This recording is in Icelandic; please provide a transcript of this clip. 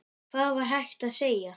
Hvað var hægt að segja?